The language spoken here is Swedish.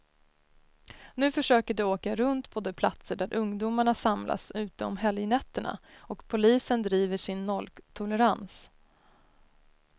Nu försöker de åka runt på de platser där ungdomarna samlas ute om helgnätterna, och polisen driver sin nolltolerans.